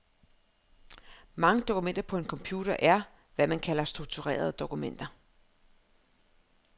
Mange dokumenter på en computer er, hvad man kalder strukturerede dokumenter.